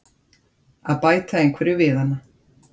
að bæta einhverju við hana.